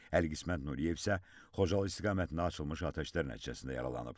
Əli Qismət Nuriyev isə Xocalı istiqamətində açılmış atəşlər nəticəsində yaralanıb.